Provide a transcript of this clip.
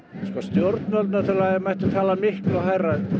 stjórnvöld náttúrulega mættu tala miklu hærra